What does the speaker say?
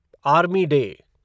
army day